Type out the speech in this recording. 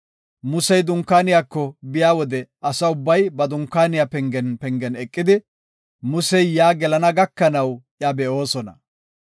Musey dunkaaniyako biya wode asa ubbay ba dunkaaniya pengen pengen eqidi, Musey yaa gelana gakanaw iya be7oosona.